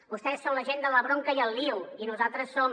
vostès són la gent de la bronca i el lio i nosaltres som